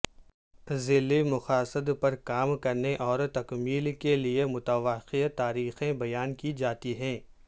ذیلی مقاصد پر کام کرنے اور تکمیل کے لئے متوقع تاریخیں بیان کی جاتی ہیں